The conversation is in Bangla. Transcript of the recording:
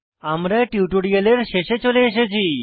আমরা টিউটোরিয়ালের শেষে চলে এসেছি